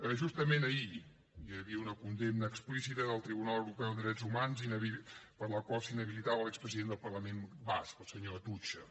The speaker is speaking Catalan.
justament ahir hi havia una condemna explícita del tribunal europeu de drets hu mans per la qual s’inhabilitava l’expresident del parlament basc el senyor atutxa